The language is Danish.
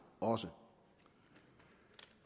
også